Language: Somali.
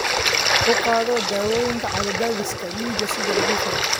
U qaado daawooyinka cadaadiska dhiigga sida lagu faray.